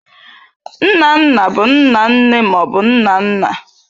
Nna nna bụ nna nne ma ọ bụ nna nna.